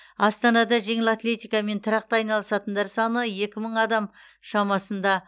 астанада жеңіл атлетикамен тұрақты айналысатындар саны екі мың адам шамасында